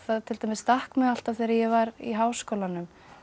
til dæmis stakk mig alltaf þegar ég var í Háskólanum